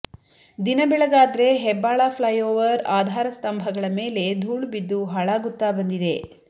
ದಿನಬೆಳಗಾದ್ರೆ Hebbal flyover ಆಧಾರ ಸ್ತಂಭಗಳ ಮೇಲೆ ಧೂಳು ಬಿದ್ದು ಹಾಳಾಗುತ್ತಾ ಬಂದಿದೆ